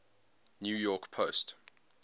new york post